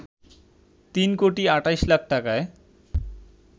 তিন কোটি ২৮ লাখ টাকায়